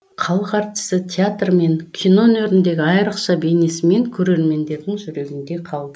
халық әртісі театр мен кино өнеріндегі айрықша бейнесімен көрермендердің жүрегінде қалды